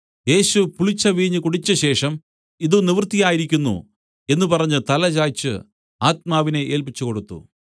യേശു പുളിച്ച വീഞ്ഞ് കുടിച്ചശേഷം ഇത് നിവൃത്തിയായിരിക്കുന്നു എന്നു പറഞ്ഞു തല ചായ്‌ച്ച് ആത്മാവിനെ ഏല്പിച്ചുകൊടുത്തു